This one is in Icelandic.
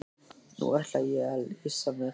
Nú ætla ég að lýsa mér.